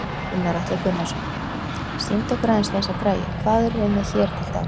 Gunnar Atli Gunnarsson: Sýndu okkur aðeins þessa græju, hvað erum við með hér til dæmis?